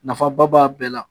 Nafaba b'a bɛɛ la